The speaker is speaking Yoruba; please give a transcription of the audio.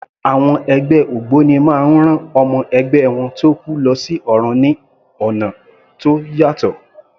Àwọn ẹgbẹ́ ògbóni máa ń rán ọmọ ẹgbẹ́ wọn tó kú lọ sí ọ̀run ní ọ̀nà tó yàtọ̀.